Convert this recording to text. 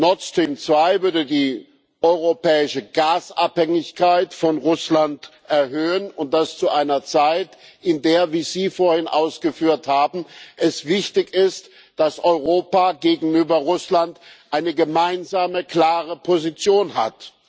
Nord Stream 2 würde die europäische Gasabhängigkeit von Russland erhöhen, und das zu einer Zeit, in der es wie Sie vorhin ausgeführt haben wichtig ist, dass Europa gegenüber Russland eine gemeinsame klare Position hat.